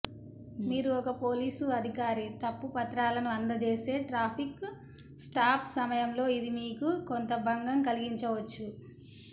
మీరు ఒక పోలీసు అధికారి తప్పు పత్రాలను అందజేస్తే ట్రాఫిక్ స్టాప్ సమయంలో ఇది మీకు కొంత భంగం కలిగించవచ్చు